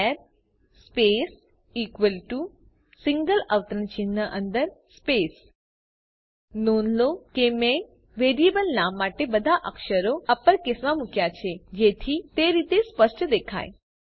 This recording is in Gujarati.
ચાર સ્પેસ ઇકવલ ટુ સિંગલ અવતરણ ચિહ્ન અંદર સ્પેસ નોંધ લો કે મેં વેરિયેબલ નામ માટે બધા અક્ષરો અપરકેસમાં મુક્યા છે જેથી તે રીતે સ્પષ્ટ દેખાય